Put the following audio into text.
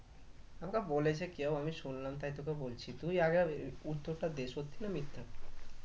আমাকে বলেছে কেও আমি শুনলাম তাই তোকে বলছি তুই আগে উম উত্তরটা দে সত্যি না মিথ্যা?